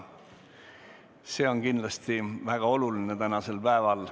See on kindlasti väga oluline tänasel päeval.